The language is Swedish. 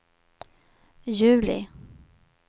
juli